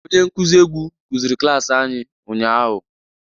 Onye nkuzi egwu kụziri klaasị anyị ụnyahụ.